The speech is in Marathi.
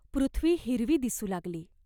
पृथ्वी हिरवी दिसू लागली.